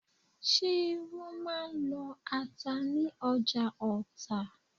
Ṣé wọ́n máà ń lọ ata ní ọjà Ọta?